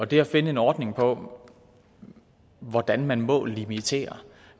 det at finde en ordning på hvordan man må limitere